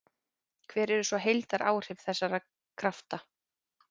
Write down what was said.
Hver eru svo heildaráhrif þessara krafta?